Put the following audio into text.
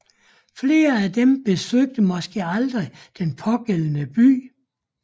Flere af dem besøgte måske aldrig den pågældende by